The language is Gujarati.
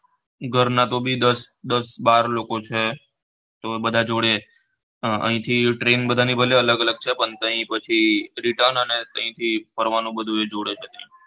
ઘર ના તો બી દસ દસ બાર લોકો છે તો બધાં જોડે અહીંથી train બધાંની ભલે અલગ અલગ છે પણ ત્યાં પછી return અને ત્યાં થી ફરવા નું બધું એ જોડે છે